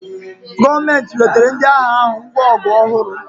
Gọọmenti wetara ndị agha ahụ ngwa ọgụ ọhụrụ